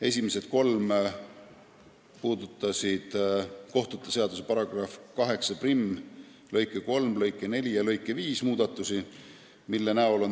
Esimesed kolm puudutasid kohtute seaduse § 81 lõike 3, lõike 4 ja lõike 5 muudatusi.